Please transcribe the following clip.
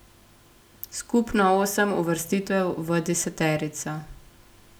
Skupno osem uvrstitev v deseterico.